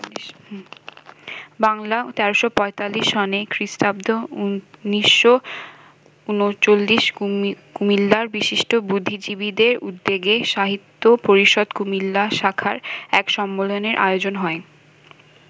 বাংলা ১৩৪৫ সনে খ্রি. ১৯৩৯ কুমিল্লার বিশিষ্ট বুদ্ধিজীবীদের উদ্যোগে সাহিত্য পরিষদ কুমিল্লা শাখার এক সম্মেলনের আয়োজন হয়।